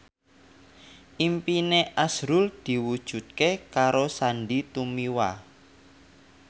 impine azrul diwujudke karo Sandy Tumiwa